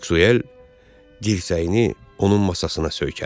Maksvel dirsəyini onun masasına söykədi.